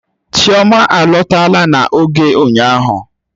Chioma alọtala na oge ụnyahụ